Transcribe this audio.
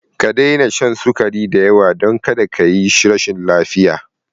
Ka daina shan sukari da yawa, don kada ka yi rashin lafiya!